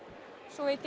svo